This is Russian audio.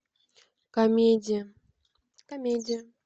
комедия комедия